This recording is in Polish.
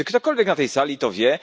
Czy ktokolwiek na tej sali to wie?